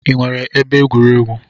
Ị nwere ebe egwuregwu?